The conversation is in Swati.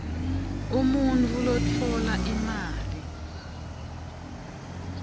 umuntfu lotfola imali